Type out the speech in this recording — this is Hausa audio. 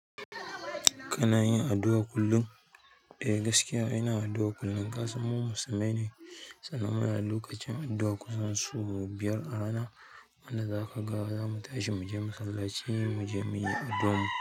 Kana yin addu'a kullum? Eh, gaskiya ina addu'a kullum. Ka san mu musulmai ne, sannan muna da lokacin addu'a kusan sau biyar a rana. Wanda zaka ga zamu tashi muje masallaci muje muyi addu'ar mu.